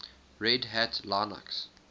red hat linux